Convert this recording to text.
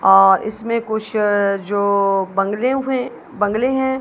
और इसमें कुछ जो बंगले हुए बंगले हैं--